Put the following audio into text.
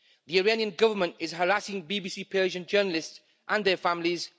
The Iranian government is harassing BBC Persian journalists and their families.